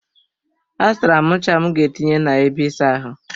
A zụtara m ncha m ga etinye na ebe ịsa ahụ.